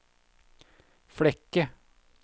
Flekke